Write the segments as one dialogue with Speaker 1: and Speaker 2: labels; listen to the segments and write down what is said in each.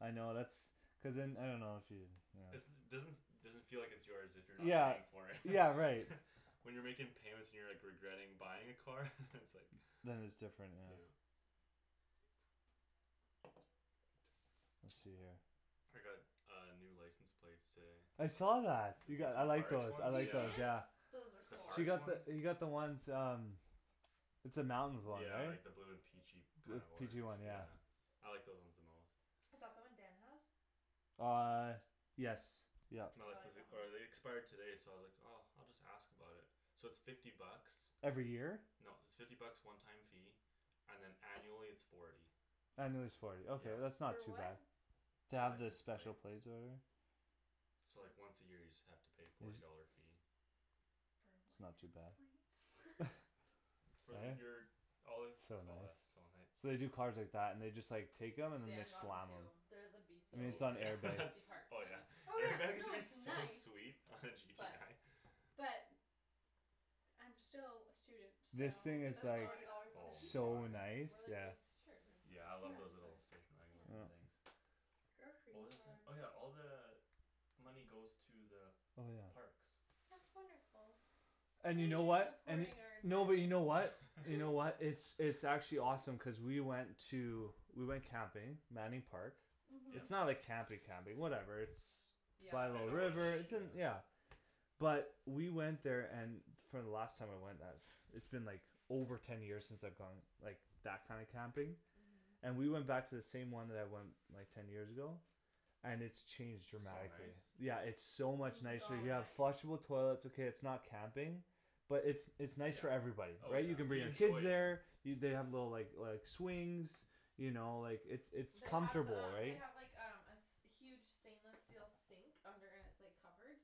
Speaker 1: I know that's Cuz then I dunno if you, you know
Speaker 2: It's doesn- doesn't feel like it's yours if you're not
Speaker 1: Yeah,
Speaker 2: paying for it
Speaker 1: yeah right
Speaker 2: When you're making payments and you're like regretting buying a car? it's like
Speaker 1: Then it's different, yeah
Speaker 2: Yeah I got a new license plate today
Speaker 1: I saw that. You got, I like
Speaker 2: Parks
Speaker 1: those, I
Speaker 2: one?
Speaker 3: You
Speaker 1: like those
Speaker 2: Yeah
Speaker 3: did?
Speaker 1: yeah
Speaker 3: Those are
Speaker 2: The
Speaker 3: cool
Speaker 1: She
Speaker 2: parks
Speaker 1: got
Speaker 2: one?
Speaker 1: the, you got the ones um It's the mountain one
Speaker 2: Yeah
Speaker 1: right?
Speaker 2: like the blue and peachy
Speaker 1: Blue
Speaker 2: kind of orange,
Speaker 1: peachy one yeah
Speaker 2: yeah I like those ones the most
Speaker 3: Is that the one Dan has?
Speaker 1: Uh yes yup
Speaker 2: No
Speaker 3: I
Speaker 2: this is
Speaker 3: like
Speaker 2: the,
Speaker 3: that one
Speaker 2: or they expired today so I was like oh, I'll just ask about it So it's fifty bucks
Speaker 1: Every year?
Speaker 2: No it's fifty bucks one time fee, and then annually it's forty
Speaker 1: Annually it's forty, ok
Speaker 2: Yeah
Speaker 1: that's not
Speaker 4: For
Speaker 1: too
Speaker 4: what?
Speaker 1: bad To
Speaker 2: The
Speaker 1: have the
Speaker 2: license
Speaker 1: special
Speaker 2: plate
Speaker 1: plates or whatever
Speaker 2: So like once a year you just have to pay forty dollar fee
Speaker 4: For
Speaker 1: That's not too bad
Speaker 4: license plates?
Speaker 2: For
Speaker 1: Eh?
Speaker 2: your, all
Speaker 1: It's
Speaker 2: it's
Speaker 1: so
Speaker 2: oh that's
Speaker 1: nice
Speaker 2: so nice
Speaker 1: So they do cars like that and just like take them and then they
Speaker 3: Dan got one
Speaker 1: slam
Speaker 3: too,
Speaker 1: them
Speaker 3: they're the
Speaker 1: I
Speaker 3: BC
Speaker 1: mean it's
Speaker 3: BC
Speaker 1: not
Speaker 2: Oh
Speaker 1: an
Speaker 2: yeah
Speaker 3: BC
Speaker 2: that's
Speaker 3: parks
Speaker 2: oh
Speaker 3: one
Speaker 2: yeah
Speaker 4: Oh yeah, no it's
Speaker 2: so
Speaker 4: nice
Speaker 2: sweet
Speaker 3: But
Speaker 4: But I'm still a student, so
Speaker 1: This
Speaker 3: You
Speaker 1: thing
Speaker 3: could
Speaker 1: is
Speaker 3: spend
Speaker 1: like
Speaker 3: forty dollars on a pizza,
Speaker 1: So
Speaker 2: Oh my
Speaker 1: nice,
Speaker 3: or like a
Speaker 1: yeah
Speaker 3: nice shirt
Speaker 2: Yeah I
Speaker 3: or
Speaker 4: Yeah
Speaker 2: love
Speaker 3: dress
Speaker 2: those
Speaker 3: or
Speaker 2: little station wagon
Speaker 3: pants
Speaker 1: Mm
Speaker 2: things What was I saying? Oh yeah, all the Money goes to the
Speaker 1: Oh yeah
Speaker 2: parks
Speaker 4: That's wonderful
Speaker 1: And you know what, and y-
Speaker 4: supporting
Speaker 1: no but you know what?
Speaker 4: our
Speaker 1: You know what,
Speaker 4: environment
Speaker 1: it's it's actually awesome cuz we went to, we went camping, Manning Park
Speaker 4: Mhm
Speaker 1: It's
Speaker 2: Yep
Speaker 1: not like camping
Speaker 3: Mhm
Speaker 1: camping, whatever it's By a
Speaker 3: Yeah,
Speaker 2: In
Speaker 1: little
Speaker 3: at
Speaker 2: the
Speaker 3: the
Speaker 2: bush,
Speaker 1: river, it's
Speaker 3: rivers
Speaker 1: in,
Speaker 2: yeah
Speaker 1: yeah But we went there and for the last time I went that, it's been like over ten years since I've gone like, that kind of camping
Speaker 3: Mhm
Speaker 1: And we went back to the same one that I went, like ten years ago? And it's changed
Speaker 2: So
Speaker 1: dramatically,
Speaker 2: nice
Speaker 1: yeah it's so much nicer
Speaker 3: So
Speaker 1: you
Speaker 4: Mm
Speaker 1: have
Speaker 2: Yeah
Speaker 3: nice
Speaker 1: flushable toilets okay it's not camping But it's it's nice
Speaker 2: Yeah,
Speaker 1: for everybody,
Speaker 2: oh
Speaker 1: right
Speaker 2: yeah,
Speaker 1: you can bring
Speaker 2: you
Speaker 1: your kids
Speaker 2: enjoy
Speaker 1: there
Speaker 2: it
Speaker 1: You they have the like like swings You know like it's it's
Speaker 3: They have the
Speaker 1: comfortable
Speaker 3: um they
Speaker 1: right
Speaker 3: have like um a s- huge stainless steel sink, under and it's like covered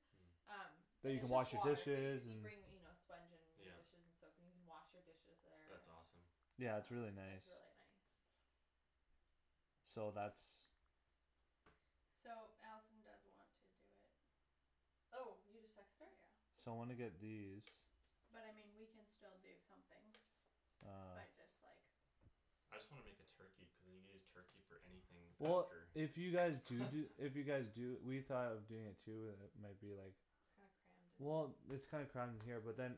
Speaker 3: Um
Speaker 2: Mm
Speaker 1: That
Speaker 3: And
Speaker 1: you
Speaker 3: it's
Speaker 1: can
Speaker 3: just
Speaker 1: wash your
Speaker 3: water, but you
Speaker 1: dishes,
Speaker 3: c- you
Speaker 1: and
Speaker 3: bring you know sponge and your
Speaker 2: Yeah
Speaker 3: dishes and soap in, you can wash your dishes there
Speaker 2: That's awesome
Speaker 1: Yeah it's
Speaker 3: Uh,
Speaker 1: really nice
Speaker 3: it's really nice
Speaker 1: So that's
Speaker 4: So Allison does want to do it
Speaker 3: Oh, you just texted her?
Speaker 4: Yeah
Speaker 1: So wanna get these
Speaker 4: But I mean we can still do something, by
Speaker 1: Um
Speaker 4: just like
Speaker 2: I just wanna make a turkey, cuz then you can just use turkey for anything
Speaker 1: Well
Speaker 2: after
Speaker 1: if you guys do do, if you guys do, we thought of doing it too but then it might be like
Speaker 3: It's kinda crammed in
Speaker 1: Well
Speaker 3: here
Speaker 1: it's kinda crammed in here but then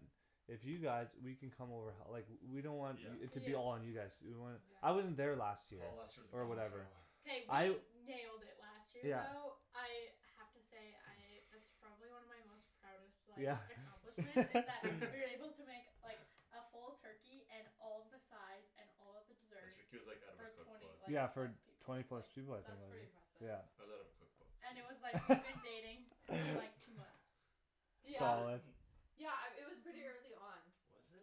Speaker 1: If you guys, we can come over h- like, we don't want
Speaker 2: Yeah
Speaker 1: y-
Speaker 4: Yeah
Speaker 1: it to be all on you guys to do, we want, I wasn't
Speaker 3: Yeah
Speaker 1: there last year,
Speaker 2: Oh last year was a
Speaker 1: or
Speaker 2: gong show
Speaker 1: whatever
Speaker 4: K
Speaker 1: I
Speaker 4: we nailed it last year
Speaker 1: Yeah
Speaker 4: though, I have to say I, that's probably one of my most proudest like
Speaker 1: Yeah
Speaker 4: accomplishments, is that we were able to make like A full turkey and all of the sides and all of the desserts,
Speaker 2: like out of her
Speaker 4: for twenty,
Speaker 2: cookbook
Speaker 4: like
Speaker 1: Yeah for
Speaker 4: plus people,
Speaker 1: twenty
Speaker 4: like
Speaker 1: plus people I think
Speaker 3: That's pretty
Speaker 1: like
Speaker 3: impressive
Speaker 1: yeah
Speaker 2: Was out of a cookbook
Speaker 4: And it was like we had been dating for like two months
Speaker 3: Yeah
Speaker 1: Solid
Speaker 3: Yeah um, it was pretty
Speaker 4: Mhm
Speaker 3: early on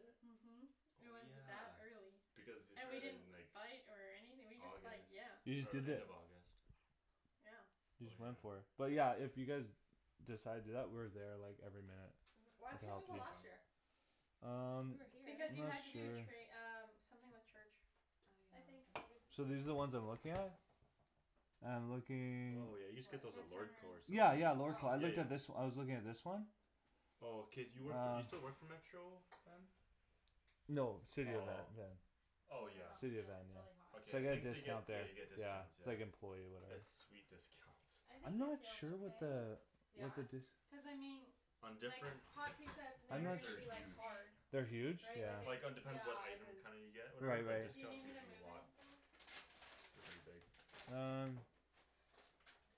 Speaker 4: Mhm It
Speaker 2: Oh
Speaker 4: was
Speaker 2: yeah,
Speaker 4: that early,
Speaker 2: because you
Speaker 4: and we
Speaker 2: started
Speaker 4: didn't
Speaker 2: in like
Speaker 4: fight or anything we just like,
Speaker 2: August,
Speaker 4: yeah
Speaker 1: You just
Speaker 2: oh
Speaker 1: did
Speaker 2: end
Speaker 1: it
Speaker 2: of August
Speaker 4: Yeah
Speaker 2: Oh yeah
Speaker 1: but yeah, if you guys Decide to do that, we're there like every minute
Speaker 3: Mhm why
Speaker 1: We can
Speaker 3: couldn't
Speaker 1: help
Speaker 3: you
Speaker 2: It
Speaker 3: go
Speaker 1: you
Speaker 2: be
Speaker 3: last
Speaker 2: fun
Speaker 3: year?
Speaker 1: Um,
Speaker 3: We were here
Speaker 4: Because you had
Speaker 1: not
Speaker 4: to do
Speaker 1: sure
Speaker 4: tra- um, something with church I
Speaker 3: I
Speaker 4: think
Speaker 3: uh,
Speaker 1: So these are
Speaker 3: I'm
Speaker 1: the ones I'm looking at? I'm looking
Speaker 2: Oh yeah you just get those at
Speaker 3: What
Speaker 2: Lordco or
Speaker 1: Yeah, yeah,
Speaker 2: something
Speaker 1: Lordco-
Speaker 3: Oh
Speaker 1: I looked at this, I was looking at this one
Speaker 2: Oh cuz you work for, you still work
Speaker 1: Uh
Speaker 2: for Metro Van?
Speaker 1: No, City of Van,
Speaker 2: Oh
Speaker 1: yeah
Speaker 2: Oh
Speaker 3: I
Speaker 2: yeah
Speaker 3: dunno,
Speaker 1: City of
Speaker 3: feel
Speaker 1: Van,
Speaker 3: it, it's really hot
Speaker 1: yeah
Speaker 2: Okay
Speaker 1: So I
Speaker 2: I
Speaker 1: get a
Speaker 2: think they get,
Speaker 1: discount
Speaker 2: yeah
Speaker 1: there,
Speaker 2: you get
Speaker 1: yeah,
Speaker 2: discounts,
Speaker 1: it's
Speaker 2: yeah
Speaker 1: like employee or whatever
Speaker 2: it's sweet discounts
Speaker 4: I
Speaker 1: I'm
Speaker 4: think it
Speaker 1: not
Speaker 4: feels
Speaker 1: sure what
Speaker 4: okay
Speaker 1: the, what
Speaker 3: Yeah?
Speaker 1: the d-
Speaker 4: Cuz I mean
Speaker 2: On
Speaker 4: like,
Speaker 2: different
Speaker 4: hot pizza it's
Speaker 1: I'm
Speaker 4: never
Speaker 2: things
Speaker 1: not s-
Speaker 4: gonna
Speaker 2: they're
Speaker 4: be like
Speaker 2: huge
Speaker 4: hard
Speaker 1: They're huge?
Speaker 4: Right,
Speaker 1: Yeah
Speaker 4: like
Speaker 2: Like it depends what
Speaker 3: Yeah,
Speaker 4: it
Speaker 3: it
Speaker 2: item
Speaker 3: is
Speaker 2: kinda you get or whatever,
Speaker 1: Right
Speaker 2: but
Speaker 1: right
Speaker 4: Do you need
Speaker 2: discount's
Speaker 4: me to
Speaker 2: usually
Speaker 4: move
Speaker 2: a lot
Speaker 4: anything?
Speaker 2: They're pretty big
Speaker 1: Um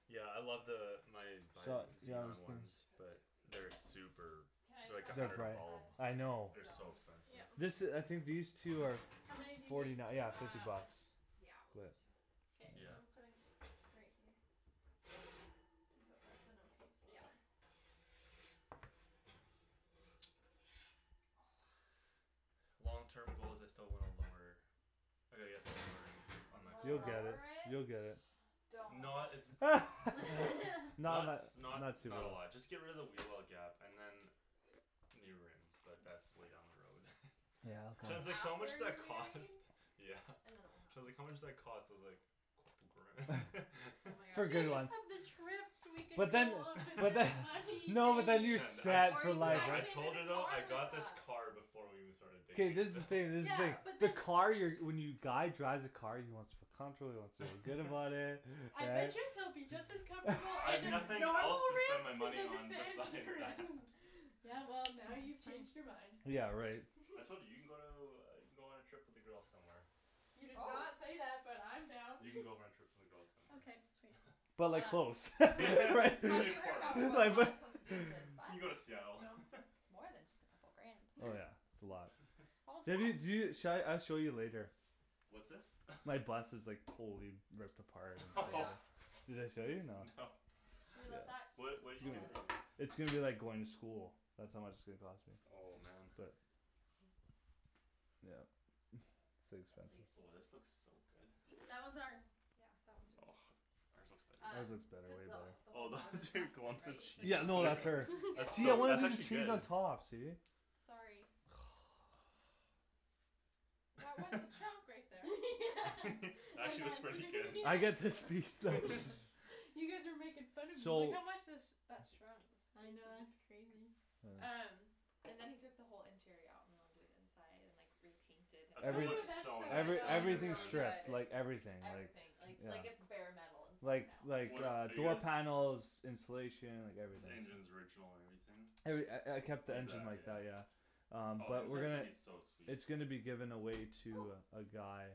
Speaker 2: Yeah I love the, my my
Speaker 1: Su- Yeah I was
Speaker 2: xenon
Speaker 1: think-
Speaker 3: We
Speaker 2: ones
Speaker 3: should put two
Speaker 2: but
Speaker 3: of these
Speaker 2: they're
Speaker 3: in
Speaker 2: super,
Speaker 3: Can I
Speaker 2: they're
Speaker 3: just
Speaker 2: like
Speaker 3: have
Speaker 2: a
Speaker 3: the
Speaker 1: They're
Speaker 2: hundred a
Speaker 3: hot
Speaker 1: prolly,
Speaker 2: bulb
Speaker 3: pads
Speaker 1: I
Speaker 3: for
Speaker 1: know
Speaker 2: They're
Speaker 3: the
Speaker 2: so
Speaker 3: stove?
Speaker 2: expensive
Speaker 1: This
Speaker 4: Yeah
Speaker 1: i- I think these two are,
Speaker 4: How many do
Speaker 1: f-
Speaker 4: you need,
Speaker 1: forty nine,
Speaker 4: two?
Speaker 1: yeah fifty
Speaker 3: Um,
Speaker 1: bucks
Speaker 3: yeah we'll do
Speaker 1: But
Speaker 3: two
Speaker 4: K,
Speaker 2: Yeah
Speaker 4: I'm putting, right here I hope that's an okay
Speaker 3: Yeah
Speaker 4: spot
Speaker 2: Long terms goals I still want a lower I gotta get it lowered, on
Speaker 3: You
Speaker 2: my
Speaker 3: wanna
Speaker 1: You'll
Speaker 2: car
Speaker 1: get it,
Speaker 3: lower it?
Speaker 1: you'll get it
Speaker 3: Don't
Speaker 2: Not as
Speaker 1: Not
Speaker 2: Not
Speaker 1: tha-
Speaker 2: s-
Speaker 1: not
Speaker 2: not,
Speaker 1: too
Speaker 2: not a lot, just get rid of the wheel well gap and then New rims, but that's way down the road
Speaker 1: Yeah
Speaker 2: Shan's
Speaker 3: That's
Speaker 2: like so how much
Speaker 3: after
Speaker 2: that
Speaker 3: you're married
Speaker 2: cost? Yeah
Speaker 3: And then it'll
Speaker 2: Shan's like
Speaker 3: happen
Speaker 2: how much does that cost, I was like
Speaker 3: Oh my
Speaker 1: For good
Speaker 4: Think
Speaker 3: gosh
Speaker 1: ones
Speaker 4: of the trips we could
Speaker 1: But
Speaker 4: go
Speaker 1: then
Speaker 4: on with
Speaker 1: but then
Speaker 4: that
Speaker 1: no but
Speaker 4: money,
Speaker 1: then you're
Speaker 4: babe
Speaker 2: Shan, I,
Speaker 1: set
Speaker 3: Or
Speaker 1: for
Speaker 3: you could
Speaker 1: life
Speaker 2: no
Speaker 3: buy
Speaker 2: I
Speaker 1: right
Speaker 2: told her
Speaker 3: Shandryn a
Speaker 2: though,
Speaker 3: car
Speaker 2: I
Speaker 3: with
Speaker 2: got this
Speaker 3: that
Speaker 2: car before we even started
Speaker 1: K
Speaker 2: dating
Speaker 1: this is the thing this is the
Speaker 4: Yeah
Speaker 1: thing
Speaker 4: but
Speaker 1: the
Speaker 4: the
Speaker 1: car you're, when you guy drives a car he wants to feel comfortable, he wants to feel good about it,
Speaker 4: I bet
Speaker 1: right
Speaker 4: you he'll be just as comfortable in
Speaker 2: I've
Speaker 4: a-
Speaker 2: nothing else
Speaker 4: normal
Speaker 2: to spend my money
Speaker 4: rims than
Speaker 2: on
Speaker 4: fancy
Speaker 2: besides that
Speaker 4: rims Yeah well, now you've changed your mind
Speaker 1: Yeah right
Speaker 2: I told you, you can go to, you can go on a trip with the girls somewhere
Speaker 4: You did not
Speaker 3: Probab-
Speaker 4: say that, but I'm down
Speaker 2: You can go on a trip with the girls somewhere
Speaker 4: Okay sweet
Speaker 1: But like
Speaker 3: Um
Speaker 1: close right,
Speaker 3: Have you heard
Speaker 2: Portland
Speaker 3: about what
Speaker 1: like th-
Speaker 3: Thomas wants to do with his bus?
Speaker 2: You can go to Seattle
Speaker 3: It's more than just a couple grand
Speaker 1: Oh yeah, it's a lot
Speaker 3: All
Speaker 1: Maybe y- do,
Speaker 3: set
Speaker 1: sha- I'll show you later
Speaker 2: What's this
Speaker 1: My bus is like totally ripped apart
Speaker 3: Oh yeah
Speaker 1: Did I show you, no
Speaker 2: No
Speaker 3: Should we let that
Speaker 2: What, what you do
Speaker 3: I'll
Speaker 2: in
Speaker 3: add it
Speaker 2: here
Speaker 1: It's going to be like going to school That's how much it's gonna cost me,
Speaker 2: Oh man
Speaker 1: but Yep it's too
Speaker 3: At
Speaker 1: expensive
Speaker 2: Oh this
Speaker 3: least
Speaker 2: looks so good
Speaker 4: That one's ours
Speaker 3: Yeah, that one's yours
Speaker 1: Ours
Speaker 3: Um,
Speaker 2: Ours
Speaker 1: looks
Speaker 2: looks
Speaker 1: better,
Speaker 2: better
Speaker 3: cuz
Speaker 1: way
Speaker 3: the wh-
Speaker 1: better
Speaker 3: the
Speaker 2: Oh
Speaker 3: whole
Speaker 2: those
Speaker 3: bottom is rusted
Speaker 2: lumps of
Speaker 3: right, so
Speaker 2: cheese,
Speaker 1: Yeah no that's her
Speaker 2: that's
Speaker 1: See I
Speaker 2: so,
Speaker 1: wanted
Speaker 2: that's
Speaker 1: to do
Speaker 2: actually
Speaker 1: cheese on
Speaker 2: good
Speaker 1: top, see
Speaker 3: Sorry That was the chunk right there
Speaker 2: Actually looks
Speaker 4: Yeah
Speaker 2: pretty good
Speaker 1: I get this piece though
Speaker 4: You guys were making fun of me
Speaker 3: Like
Speaker 1: So
Speaker 3: how much has that shrunk
Speaker 4: I
Speaker 3: S-
Speaker 4: know, that's
Speaker 3: crazy
Speaker 4: crazy
Speaker 1: Uh
Speaker 3: Um, and then he took the whole interior out and went and did inside and like, repainted
Speaker 2: That's gonna
Speaker 1: Every-
Speaker 4: Ooh
Speaker 2: look
Speaker 4: that's so
Speaker 2: so
Speaker 3: It still
Speaker 2: nice
Speaker 1: every,
Speaker 2: though, when
Speaker 3: looks
Speaker 2: you
Speaker 4: much
Speaker 2: get it
Speaker 1: everything
Speaker 3: really
Speaker 2: done
Speaker 3: good,
Speaker 4: fun
Speaker 1: stripped,
Speaker 3: it's
Speaker 1: like
Speaker 3: just
Speaker 1: everything,
Speaker 3: everything,
Speaker 1: like
Speaker 3: like it's
Speaker 1: Yeah
Speaker 3: bare metal inside
Speaker 1: Like
Speaker 3: now
Speaker 1: like
Speaker 2: What a-
Speaker 1: uh
Speaker 2: are you
Speaker 1: door
Speaker 2: guys
Speaker 1: panels, insulation, like
Speaker 2: The
Speaker 1: everything
Speaker 2: engines original and everything?
Speaker 1: Every- I I kept the engine like that,
Speaker 2: Yeah
Speaker 1: yeah Um
Speaker 2: Oh the
Speaker 1: but we're
Speaker 2: inside's gonna
Speaker 1: gonna
Speaker 2: be so sweet
Speaker 1: It's gonna be given away
Speaker 3: Oh
Speaker 1: to uh, a guy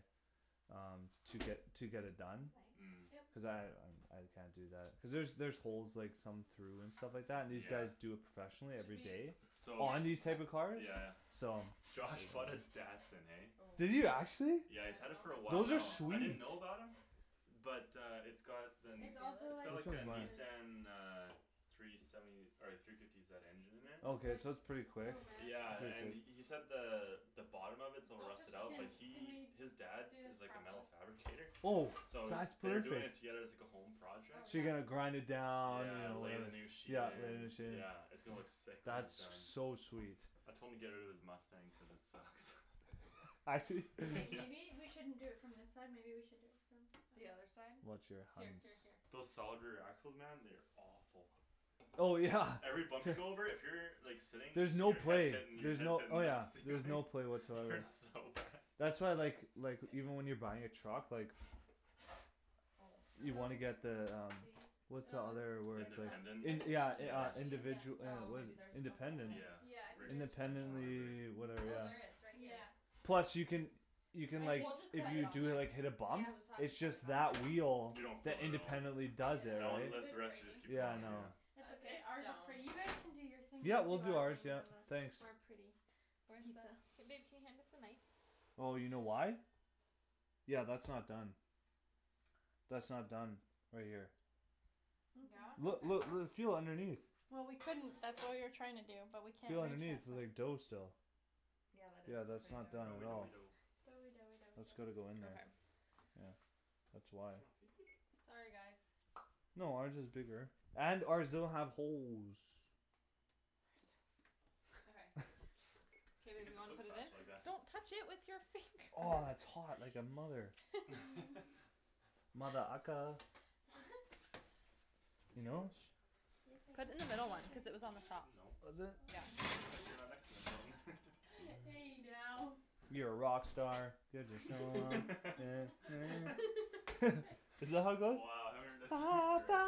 Speaker 1: Um, to get, to get it done
Speaker 3: That's
Speaker 2: Mm
Speaker 3: nice
Speaker 1: Cuz
Speaker 4: Yep
Speaker 1: I, um I can't do that cuz there's there's holes like some through and stuff like that, and these
Speaker 2: Yeah
Speaker 1: guys do it professionally
Speaker 3: Should
Speaker 1: every
Speaker 3: we
Speaker 1: day
Speaker 2: So
Speaker 1: On these type
Speaker 4: Yep
Speaker 1: of
Speaker 3: Okay
Speaker 2: yeah
Speaker 1: cars,
Speaker 2: yeah
Speaker 1: so
Speaker 2: Josh bought a Datsun, eh
Speaker 3: Oh, I
Speaker 1: Did
Speaker 3: don't
Speaker 1: you actually?
Speaker 2: Yeah he's had it
Speaker 3: know
Speaker 2: for a while
Speaker 3: if
Speaker 1: Those are
Speaker 2: now,
Speaker 3: it's done
Speaker 2: I
Speaker 3: in the middle
Speaker 2: didn't
Speaker 1: sweet
Speaker 2: know about him But uh it's got the,
Speaker 3: Can you
Speaker 4: It's
Speaker 3: feel
Speaker 4: also
Speaker 2: it's
Speaker 4: like
Speaker 2: got like
Speaker 4: super
Speaker 2: a
Speaker 3: it?
Speaker 2: Nissan uh Three seventy, or like three fifty zed engine in
Speaker 4: This
Speaker 2: there
Speaker 4: is
Speaker 1: Okay
Speaker 4: like,
Speaker 1: so that's pretty
Speaker 4: it's so
Speaker 1: quick,
Speaker 2: Yeah and he
Speaker 4: massive
Speaker 2: said the the bottom of it's a little
Speaker 3: Don't touch
Speaker 2: rusted
Speaker 3: the
Speaker 2: out, but
Speaker 4: Can,
Speaker 3: tin
Speaker 4: can we
Speaker 2: he,
Speaker 4: do
Speaker 2: his dad
Speaker 4: this
Speaker 2: is like a metal
Speaker 4: properly
Speaker 2: fabricator
Speaker 1: Oh
Speaker 2: So
Speaker 1: that's
Speaker 2: they're doing it
Speaker 1: perfect
Speaker 2: together as like a home
Speaker 3: Oh
Speaker 2: project
Speaker 1: So
Speaker 3: yeah
Speaker 1: you're gonna grind it down, you
Speaker 2: Yeah,
Speaker 1: know
Speaker 2: lay
Speaker 1: whatever,
Speaker 2: the new sheet
Speaker 1: yeah lay a
Speaker 2: in,
Speaker 1: new sheet
Speaker 2: yeah it's gonna look sick when he's
Speaker 1: That's
Speaker 2: done
Speaker 1: so sweet
Speaker 2: I told him to get out of his Mustang cuz it sucks
Speaker 1: Actually?
Speaker 4: K
Speaker 2: Yeah
Speaker 4: maybe we shouldn't do it from this side maybe we should do it
Speaker 3: The
Speaker 4: from
Speaker 3: other side?
Speaker 1: Watch your
Speaker 3: Here
Speaker 1: hands
Speaker 3: here here
Speaker 2: Those solid rear axles man, they are awful
Speaker 1: Oh yeah,
Speaker 2: Every bump
Speaker 1: t-
Speaker 2: you go over, if you're like sitting, then
Speaker 1: There's no
Speaker 2: your head's
Speaker 1: play,
Speaker 2: hitting, your
Speaker 1: there's
Speaker 2: head's
Speaker 1: no,
Speaker 2: hitting
Speaker 1: oh
Speaker 2: the
Speaker 1: yeah there's
Speaker 2: ceiling
Speaker 1: no play
Speaker 2: It
Speaker 1: whatsoever on
Speaker 2: hurts
Speaker 1: that
Speaker 2: so bad
Speaker 1: That's why I like like, even when you're buying a truck like
Speaker 3: Oh no
Speaker 1: You wanna
Speaker 4: Oh
Speaker 1: get the um
Speaker 3: See?
Speaker 1: What's the
Speaker 4: Oh
Speaker 1: other
Speaker 4: it's
Speaker 2: The
Speaker 1: word
Speaker 3: It's
Speaker 1: it's
Speaker 4: no
Speaker 1: like
Speaker 2: independent?
Speaker 4: it's,
Speaker 1: in-
Speaker 3: not
Speaker 4: that's
Speaker 1: yeah in-
Speaker 3: Is
Speaker 4: the
Speaker 1: uh
Speaker 2: Yeah
Speaker 3: that
Speaker 1: yeah
Speaker 3: cheese?
Speaker 4: cheese
Speaker 1: individu- eh,
Speaker 3: Oh
Speaker 1: what is
Speaker 3: maybe
Speaker 1: it,
Speaker 3: there's just a hole
Speaker 1: independent,
Speaker 3: then
Speaker 2: Yeah
Speaker 4: Yeah I
Speaker 2: Rift
Speaker 4: think theirs
Speaker 2: suspension
Speaker 4: was
Speaker 2: or
Speaker 1: independently,
Speaker 4: just a
Speaker 1: yeah
Speaker 2: whatever
Speaker 4: hole.
Speaker 3: Oh
Speaker 1: whatever
Speaker 3: there is, right here
Speaker 4: Yeah, that's
Speaker 1: Plus you can You can like,
Speaker 4: I
Speaker 3: We'll just
Speaker 1: if
Speaker 3: cut
Speaker 4: think
Speaker 3: it
Speaker 1: you
Speaker 3: on
Speaker 1: do it
Speaker 3: there
Speaker 4: cuz
Speaker 1: like hit a
Speaker 4: it's
Speaker 3: We'll
Speaker 1: bump
Speaker 3: just have to
Speaker 1: It's
Speaker 3: cut it
Speaker 1: just
Speaker 3: on
Speaker 1: that wheel
Speaker 2: You
Speaker 3: there
Speaker 2: don't
Speaker 1: that
Speaker 2: feel it at all
Speaker 1: independently does it,
Speaker 2: That
Speaker 1: right,
Speaker 2: one
Speaker 4: Cuz
Speaker 2: lifts,
Speaker 4: it's
Speaker 2: the rest
Speaker 4: breaking
Speaker 2: just keep going
Speaker 1: yeah no
Speaker 2: yeah
Speaker 3: Yeah
Speaker 4: It's
Speaker 3: It's
Speaker 4: okay,
Speaker 3: it's
Speaker 4: ours is
Speaker 3: stone
Speaker 4: pretty, you guys can do your thing
Speaker 1: Yeah
Speaker 4: now
Speaker 1: we'll
Speaker 4: we'll do
Speaker 1: do
Speaker 4: our
Speaker 1: ours yeah,
Speaker 4: our pretty
Speaker 1: thanks
Speaker 3: Where the,
Speaker 4: pizza
Speaker 3: k babe can you hand us the knife?
Speaker 1: Oh you know why? Yeah that's not done That's not done, right here
Speaker 3: Yeah?
Speaker 1: Look
Speaker 3: Okay
Speaker 4: Okay
Speaker 1: look l- feel underneath
Speaker 4: Well we couldn't, that's what we were trying to do, but we can't
Speaker 1: Feel underneath, there's like dough still
Speaker 3: Yeah that is
Speaker 1: Yeah that's
Speaker 3: still
Speaker 1: not done
Speaker 3: pretty
Speaker 2: Doughy
Speaker 1: at all
Speaker 2: doughy
Speaker 3: doughy
Speaker 2: dough
Speaker 4: Doughy doughy doughy
Speaker 1: That's gotta go
Speaker 4: dough
Speaker 1: in there,
Speaker 3: Okay
Speaker 1: yeah That's why
Speaker 3: Sorry guys
Speaker 1: No ours is bigger, and ours doesn't have holes
Speaker 3: Okay K
Speaker 2: I
Speaker 3: babe
Speaker 2: guess
Speaker 3: you
Speaker 2: it
Speaker 3: wanna
Speaker 2: cooks
Speaker 3: put it in?
Speaker 2: faster like that
Speaker 3: Don't touch it with your finger
Speaker 1: Aw, it's hot like a mother-
Speaker 4: Mm
Speaker 1: Mother ucka
Speaker 2: Good
Speaker 1: You
Speaker 2: to go?
Speaker 1: know?
Speaker 4: Yes
Speaker 3: Put it in the middle one, cuz it was on the top
Speaker 4: I
Speaker 2: No
Speaker 1: Was
Speaker 3: Yeah
Speaker 1: it?
Speaker 2: Just like you're not
Speaker 4: Hey now
Speaker 1: You're a rock star, get the show on, get paid Isn't that how it goes?
Speaker 2: Wow haven't heard that song in forever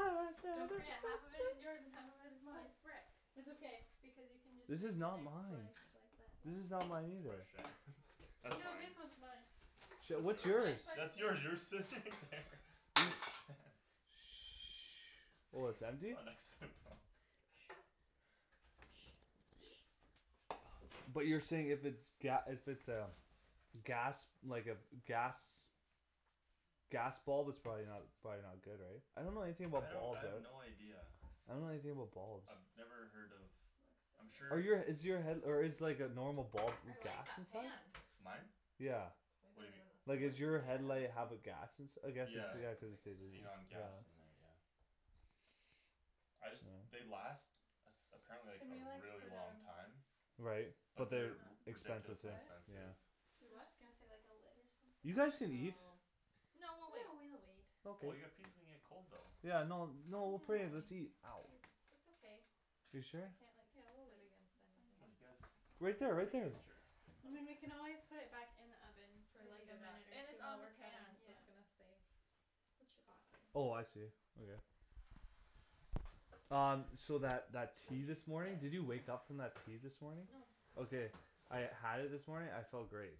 Speaker 4: Don't forget, half of it is yours and half of it is
Speaker 3: Oh
Speaker 4: mine
Speaker 3: frick
Speaker 4: It's okay, because you can just make
Speaker 1: This
Speaker 4: the
Speaker 1: is
Speaker 4: next
Speaker 1: not
Speaker 4: slice
Speaker 1: mine This is not mine either
Speaker 4: like that, yeah
Speaker 2: That's
Speaker 4: No
Speaker 2: fine
Speaker 4: this one's mine
Speaker 1: Shit,
Speaker 2: That's
Speaker 1: what's
Speaker 2: yours,
Speaker 1: yours?
Speaker 3: Mine's by the
Speaker 2: that's
Speaker 3: sink
Speaker 2: yours you were sitting there
Speaker 1: Oh it's
Speaker 2: You
Speaker 1: empty?
Speaker 2: were next to it Paul
Speaker 1: But you're saying if it's ga- if it's a gas, like a, gas Gas bulb it's probably not, it's probably not good right? I don't know anything
Speaker 2: I
Speaker 1: about
Speaker 2: don't I
Speaker 1: bulbs, I
Speaker 2: have
Speaker 1: don't
Speaker 2: no idea
Speaker 1: I don't know anything about bulbs
Speaker 2: I've never heard of I'm
Speaker 1: Are
Speaker 2: sure
Speaker 1: you a is
Speaker 2: it's
Speaker 1: your head- or is like a normal bulb
Speaker 3: I like
Speaker 1: gas
Speaker 3: that
Speaker 1: inside?
Speaker 3: pan
Speaker 2: Mine?
Speaker 1: Yeah
Speaker 3: Way
Speaker 2: What do
Speaker 3: better
Speaker 2: you
Speaker 3: than
Speaker 1: Like
Speaker 2: mean, what?
Speaker 1: is your
Speaker 4: Yeah
Speaker 3: the
Speaker 1: headlight
Speaker 4: it's
Speaker 1: have a gas
Speaker 4: nice
Speaker 1: ins- , I guess it's
Speaker 2: Yeah,
Speaker 3: Probably cuz
Speaker 1: yeah
Speaker 3: it's
Speaker 1: cuz it
Speaker 3: thicker
Speaker 1: says
Speaker 2: xenon
Speaker 1: like,
Speaker 3: too
Speaker 1: yeah
Speaker 2: gas in there yeah I just, they last Apparently like
Speaker 4: Can we
Speaker 2: a
Speaker 4: like,
Speaker 2: really
Speaker 4: put
Speaker 2: long
Speaker 4: um
Speaker 2: time
Speaker 1: Right,
Speaker 4: Put
Speaker 1: but
Speaker 2: But
Speaker 4: this
Speaker 1: they're
Speaker 2: they're
Speaker 1: expensive s-
Speaker 2: ridiculously
Speaker 4: on
Speaker 3: What?
Speaker 2: expensive
Speaker 1: yeah
Speaker 4: I was
Speaker 3: Do what?
Speaker 4: just gonna say like a lid or something
Speaker 1: You guys can eat
Speaker 3: Oh No
Speaker 4: No
Speaker 3: we'll
Speaker 4: we'll
Speaker 3: wait
Speaker 4: wait
Speaker 2: Oh well
Speaker 1: Okay
Speaker 2: your pizza's gonna get cold though
Speaker 1: Yeah no no
Speaker 4: Mm
Speaker 1: we'll put it in,
Speaker 4: I
Speaker 1: let's eat
Speaker 4: mean That's okay
Speaker 1: You
Speaker 3: I
Speaker 1: sure?
Speaker 3: can't like
Speaker 4: Yeah
Speaker 3: sit
Speaker 4: we'll
Speaker 3: against
Speaker 4: wait,
Speaker 3: anything
Speaker 2: Come
Speaker 4: it's
Speaker 2: you
Speaker 4: fine
Speaker 2: guys,
Speaker 1: Right there
Speaker 2: here
Speaker 1: right
Speaker 2: take
Speaker 1: there
Speaker 2: this chair
Speaker 4: I mean we can always put it back in the oven, for
Speaker 3: To
Speaker 4: like
Speaker 3: heat
Speaker 4: a
Speaker 3: it up,
Speaker 4: minute or
Speaker 3: and it's on the
Speaker 4: two
Speaker 3: pan, so
Speaker 4: yeah
Speaker 3: it's gonna stay
Speaker 4: It should
Speaker 3: hot
Speaker 4: be fine.
Speaker 1: Oh I see, okay Um, so that that
Speaker 2: I
Speaker 1: tea
Speaker 2: guess he's
Speaker 1: this morning, did you
Speaker 3: Sit?
Speaker 1: wake up from that tea this morning?
Speaker 3: No
Speaker 1: Okay I had it this morning, I felt great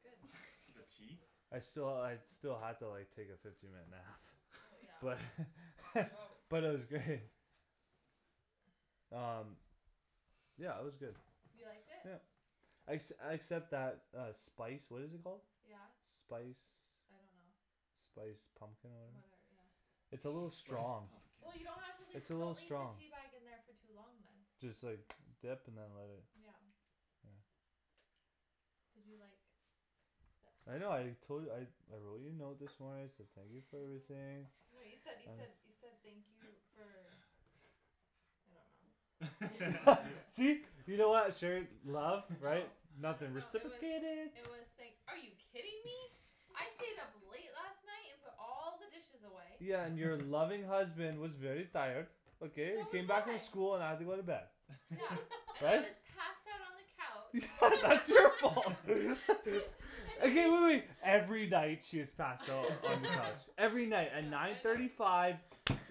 Speaker 3: good
Speaker 2: the
Speaker 3: that's
Speaker 2: tea?
Speaker 1: I sti- I still had to like take a fifteen minute nap
Speaker 3: well
Speaker 1: but
Speaker 3: yeah you always
Speaker 1: but
Speaker 3: sleep
Speaker 1: it was great um yeah it was good
Speaker 3: you liked it?
Speaker 1: yeah exc- except that uh spice what is it called?
Speaker 3: yeah
Speaker 1: spice
Speaker 3: I don't know
Speaker 1: spice pumpkin or
Speaker 3: whatever yeah
Speaker 1: it's a little
Speaker 2: spice
Speaker 1: strong
Speaker 2: pumpkin
Speaker 3: well you don't have to leave
Speaker 1: it's a
Speaker 3: don't
Speaker 1: little
Speaker 3: leave the
Speaker 1: strong
Speaker 3: teabag in there for too long then
Speaker 1: just like dip and then let it
Speaker 3: yeah
Speaker 1: yeah
Speaker 3: did you like th-
Speaker 1: I know I tol- I I wrote you a note this morning I said thank you for everything
Speaker 3: no you said you said you said thank you for I don't know
Speaker 1: see laugh right
Speaker 3: no I don't know it was I was like are you kidding me I stayed up late last night and put all the dishes away
Speaker 1: yeah and your loving husband was very tired okay I
Speaker 3: so was
Speaker 1: came back from
Speaker 3: I
Speaker 1: school and I had to go to bed
Speaker 3: yeah and I
Speaker 1: but
Speaker 3: was passed out on the couch
Speaker 1: that's your fault okay wait wait wait every night she is passed out in the couch every night at
Speaker 3: yeah
Speaker 1: nine
Speaker 3: I know
Speaker 1: thirty five